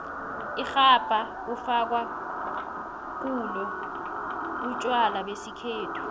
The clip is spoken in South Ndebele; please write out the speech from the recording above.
irhabha kufakwa kulo utjwala besikhethu